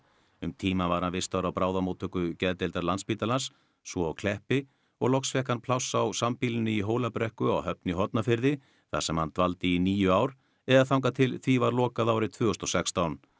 um tíma var hann vistaður á bráðamóttöku geðdeildar Landspítalans svo á Kleppi og loks fékk hann pláss á sambýlinu í Hólabrekku á Höfn í Hornafirði þar sem hann dvaldi í níu ár eða þangað til því var lokað árið tvö þúsund og sextán